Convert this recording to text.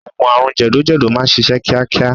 Oògùn àrùn jẹ̀dọ̀jẹ̀dọ̀ máà ń ṣiṣẹ́ kíákíá.